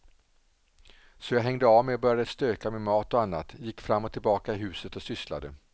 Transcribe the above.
Så jag hängde av mig och började stöka med mat och annat, gick fram och tillbaka i huset och sysslade.